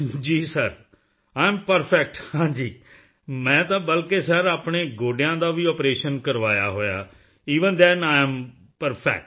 ਜੀ sir I am perfect ਹਾਂ ਜੀ ਮੈਂ ਤਾਂ ਬਲਕਿ ਸਿਰ ਆਪਣੇ ਗੋਡਿਆਂ ਦਾ ਵੀ ਆਪਰੇਸ਼ਨ ਕਰਵਾਇਆ ਹੋਇਆ ਹੈ even than I am perfect